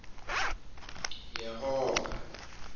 yehova